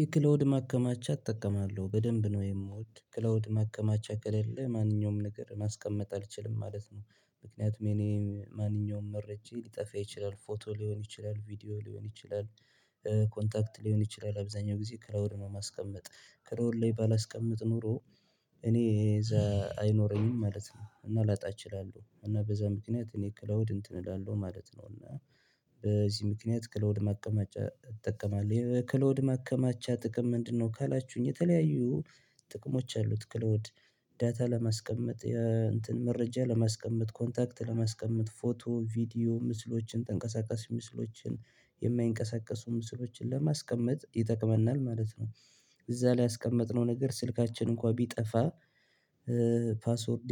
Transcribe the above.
የክላውድ ማከማቻ እጠቀማለሁ በደንብ ነው የምወድ ክላውድ ማከማቻ ከሌለ ማንኛውም ነገር ማስቀመጥ አልችልም ማለት ነው። ምክንያቱም የእኔ ማንኛውም መረጃ ሊጠፋ ይችላል ፎቶ ሊሆን ይችላል ቪዲዮ ሊሆን ይችላል። ኮንታክት ሊሆን ይችላል አብዛኛው ጊዜ ክላውድ ነው ማስቀመጥ ክላውድ ላይ ባላስቀምጥ ኖሮ እኔ አይኖረኝም ማለት ነው። እና ላጣ እችላለሁ እና በዛ ምክንያት እኔ ከላውድ እንትን እላለሁ ማለት ነው። እና በዚህ ምክንያት ክላውድ ማከማቻ እጠቀማለሁ ክሎድ ማከማቻ ጥቅም ምንድንነው ካላችሁኝ? የተለያዩ ጥቅሞች አሉት ክላውድ ዳታ ለማስቀመጥ እንትን መረጃ ለማስቀመጥ ኮንታክት ለማስቀመጥ ፎቶ ቪዲዮ ምስሎችን ተንቀሳቀሽ ምስሎችን የማይንቀሳቀሱ ምስሎችን ለማስቀመጥ ይጠቅመናል ማለት ነው። እዛ ላይ ያስቀመጥነው ነገር ስልካችን እንኳን ቢጠፋ ፓስወርድ